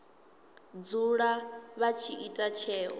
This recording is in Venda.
dzula vha tshi ita tsheo